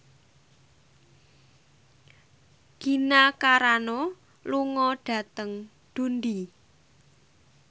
Gina Carano lunga dhateng Dundee